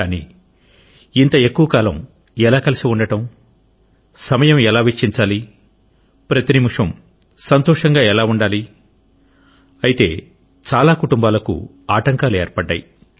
కానీ ఇంత ఎక్కువ కాలం ఎలా కలిసి ఉండడం సమయం ఎలా వెచ్చించాలి ప్రతి నిమిషం సంతోషంగా ఎలా ఉండాలి ఐతే చాలా కుటుంబాలకు ఆటంకాలు ఏర్పడ్డాయి